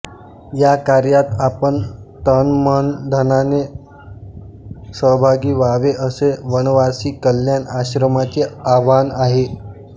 या कार्यात आपण तनमनधनाने सहभागी व्हावे असे वनवासी कल्याण आश्रमाचे आवाहन आहे